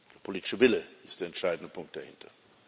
Der politische Wille ist der entscheidende Punkt dahinter.